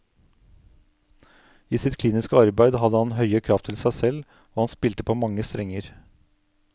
I sitt kliniske arbeid hadde han høye krav til seg selv, og han spilte på mange strenger.